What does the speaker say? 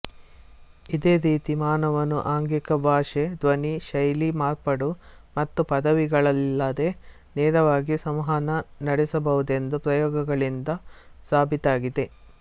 ಇದೇ ರೀತಿ ಮಾನವನು ಆಂಗಿಕ ಭಾಷೆ ಧ್ವನಿ ಶೈಲಿ ಮಾರ್ಪಾಡು ಮತ್ತು ಪದಗಳಿಲ್ಲದೆ ನೇರವಾಗಿ ಸಂವಹನ ನಡೆಸಬಹುದೆಂದು ಪ್ರಯೋಗಗಳಿಂದ ಸಾಬೀತಾಗಿದೆ